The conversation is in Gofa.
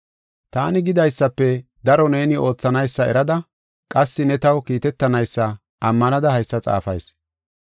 Taani gidaysafe daro neeni oothanaysa erada qassi ne taw kiitetanaysa ammanada haysa xaafayis.